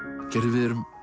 við erum